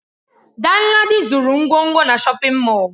Danladi zuru ngwongwo na shọpin Mọll.